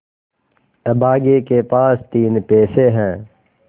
अभागे के पास तीन पैसे है